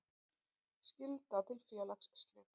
Skylda til félagsslita.